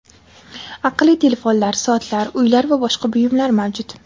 Aqlli telefonlar, soatlar, uylar va boshqa buyumlar mavjud.